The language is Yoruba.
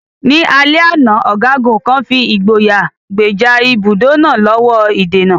Ní alẹ́ àná, ọ̀gágun kan fi ìgboyà gbèjà ibùdó náà lọ́wọ́ ìdènà.